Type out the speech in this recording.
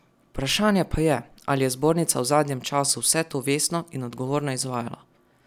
Vprašanje pa je, ali je zbornica v zadnjem času vse to vestno in odgovorno izvajala.